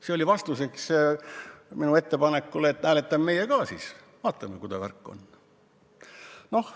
See oli vastuseks minu ettepanekule, et hääletame siis meie ka, vaatame, mis värk on.